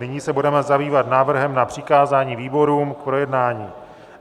Nyní se budeme zabývat návrhem na přikázání výborům k projednání.